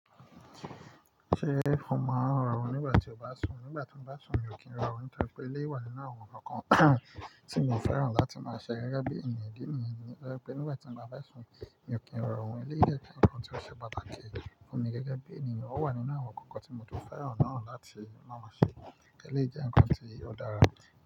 Ṣé mo máa ń rọrùn nígbà tí ó bá sùn? Nígbà tí mo bá sùn mi ò kí ń rọrùn nítorí pé ilé wà nínú àwọn ǹkan tí mo fẹ́ràn láti máa ṣe gẹ́gẹ́ bí ènìyàn díẹ̀ nítorí pé nígbà tí mo bá sùn mi ò kí ń rọrùn. Ilé jẹ́ ǹkan tí ó ṣe pàtàkì fún mi gẹ́gẹ́ bí ènìyàn, ó wà nínú àwọn ǹkan tí mo tún fẹ́ràn náà láti máa ṣe gẹ́gẹ́ ilé jẹ́ ǹkan tí ó dára.